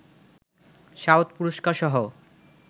south পুরষ্কারসহ